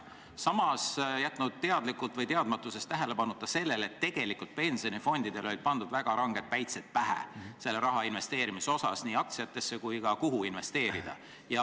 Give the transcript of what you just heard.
Samas on jäetud teadlikult või teadmatuses tähelepanuta see, et tegelikult on pensionifondidele selle raha investeerimise osas väga räiged päitsed pähe pandud.